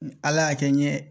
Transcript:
Ala y'a kɛ n ɲɛ